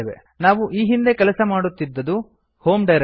ನಾವು ಈ ಹಿಂದೆ ಕೆಲಸ ಮಾಡುತ್ತಿದ್ದದ್ದು ಹೋಮ್ ಡೈರಕ್ಟರಿ